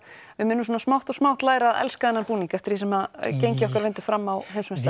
við munum svona smátt og smátt læra að elska þennan búning eftir því sem gengi okkar vindur fram á